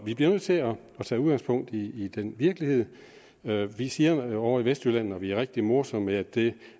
vi bliver nødt til at tage udgangspunkt i virkeligheden vi siger ovre i vestjylland når vi er rigtig morsomme at det